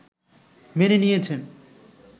মেনে নিয়েছেন